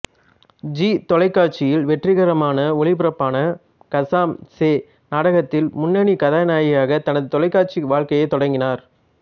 ஜீ தொலைக்காட்சியில் வெற்றிகரமான ஒளிபரப்பான கஸ்ஸாம் சே நாடகத்தில் முன்னணி கதாநாயகியாக தனது தொலைக்காட்சி வாழ்க்கையைத் தொடங்கினார்